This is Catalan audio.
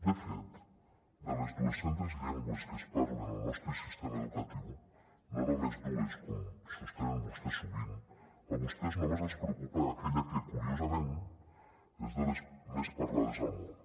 de fet de les dues centes llengües que es parlen al nostre sistema educatiu no només dues com sostenen vostès sovint a vostès només els preocupa aquella que curiosament és de les més parlades al món